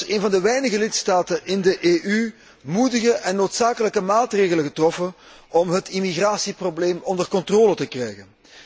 Uw land heeft als een van de weinige lidstaten in de EU moedige en noodzakelijke maatregelen getroffen om het immigratieprobleem onder controle te krijgen.